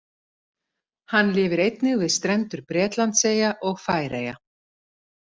Hann lifir einnig við strendur Bretlandseyja og Færeyja.